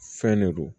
Fɛn ne don